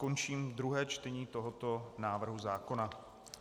Končím druhé čtení tohoto návrhu zákona.